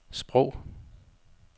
sprog